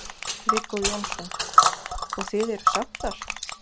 Viggó Jónsson: Og, og þið eruð sáttar?